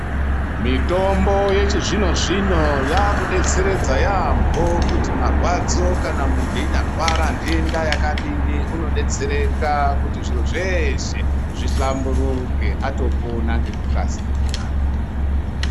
Mitombo yevhizvino zvino yakudetseredza yampo kuti marwadzo Kana muntu einyarwara ntenda yakadini unodetsereka kuti zviro zveshe zvihlamburuke atopona ngekukasira.